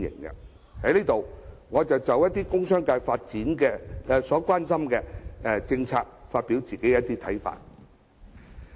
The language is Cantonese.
我在這裏就一些工商界所關心的政策發表我的看法。